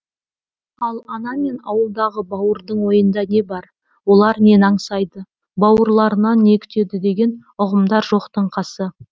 ал ана мен ауылдағы бауырдың ойында не бар олар нені аңсайды бауырларынан не күтеді деген ұғымдар жоқтың қасы